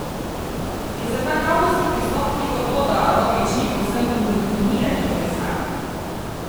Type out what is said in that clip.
Je za ta kavbojski pristop krivo to, da Roglič ni povsem indoktrinirani kolesar?